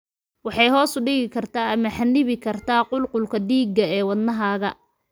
Waxay hoos u dhigi kartaa ama xannibi kartaa qulqulka dhiigga ee wadnahaaga.